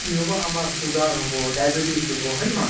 কি হʼব আমাৰ sugar হʼব, diabetes হʼব । হয় ন হয় ?